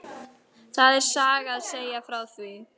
Það er saga að segja frá því.